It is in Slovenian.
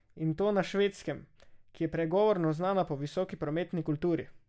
In to na švedskem, ki je pregovorno znana po visoki prometni kulturi.